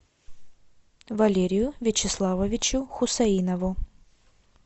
валерию вячеславовичу хусаинову